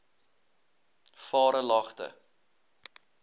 varelagte